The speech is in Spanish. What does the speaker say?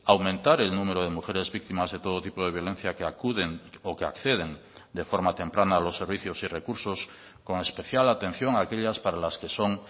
aumentar el número de mujeres víctimas de todo tipo de violencia que acuden o que acceden de forma temprana a los servicios y recursos con especial atención a aquellas para las que son